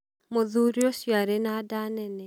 Mũthuri ũcio arĩ na nda nene.